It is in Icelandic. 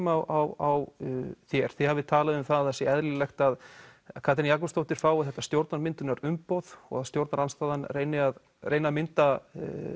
á þér þið hafið talað um að það sé eðlilegt að Katrín Jakobsdóttir fái þetta stjórnarmyndunarumboð og að stjórnarandstaðan reyni að reyni að mynda